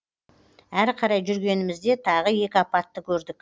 әрі қарай жүргенімізде тағы екі апатты көрдік